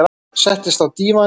Settist á dívaninn.